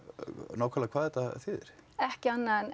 nákvæmlega hvað þetta þýðir ekki annað en